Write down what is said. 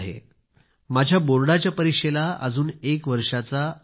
माझ्या बोर्डाच्या परीक्षेला अजून एक वर्षाचा वेळ आहे